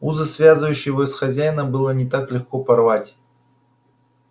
узы связывающие его с хозяином было не так легко порвать